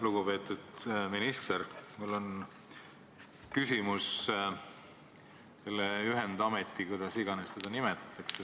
Lugupeetud minister, mul on küsimus selle ühendameti kohta, kuidas iganes seda ka ei nimetata.